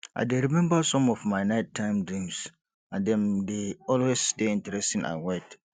i dey remember some of my nighttime dreams and dem dey always dey interesting and weird